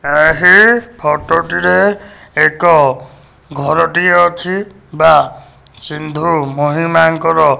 ଏହି ଫଟୋ ଟିରେ ଏକ ଘରଟିଏ ଅଛି ବା ସିନ୍ଧୁ ମହିମାଙ୍କର --